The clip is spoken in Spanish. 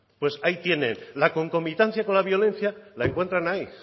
pues ahí tienen la concomitancia con la violencia la encuentran ahí